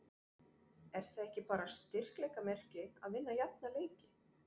Er það ekki bara styrkleikamerki að vinna jafna leiki?